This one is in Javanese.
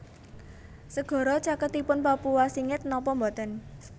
Segara caketipun Papua singit nopo mboten